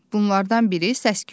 Bunlardan biri səs-küydür.